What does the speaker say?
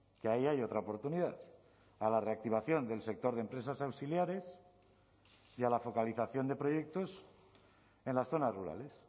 que ahí hay otra oportunidad a la reactivación del sector de empresas auxiliares y a la focalización de proyectos en las zonas rurales